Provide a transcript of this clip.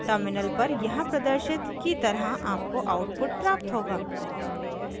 terminal पर यहाँ प्रदर्शित की तरह आपको आउटपुट प्राप्त होगा